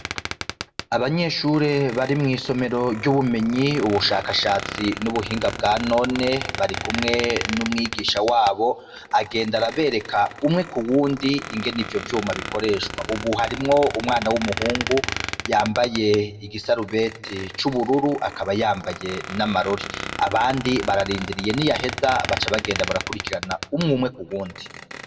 Abanyeshure bari mw'isomero ry'ubumenyi ubushakashatsi n'ubuhinga bwa none, barikumwe n'umwigisha wabo agenda arabereka umwe k'uwundi ingene ivyo vyuma bikoreshwa, ubu harimwo umwana w'umuhungu yambaye igisarubeti c'ubururu akaba yambaye n'amarori, abandi bararindiriye niyaheza baca bagenda barakurikirana umwumwe k'uwundi.